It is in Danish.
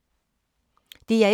DR1